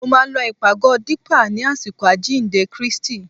Mo máa lọ ìpàgọ́ Dípà ni àsìkò àjíǹde Kristi